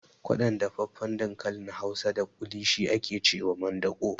Kwaɗon dafaffen dankalin hausa da ƙuli shi ake cewa mandaƙo